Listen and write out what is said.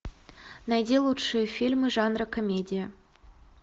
найди лучшие фильмы жанра комедия